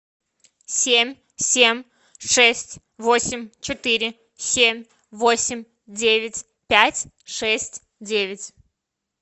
семь семь шесть восемь четыре семь восемь девять пять шесть девять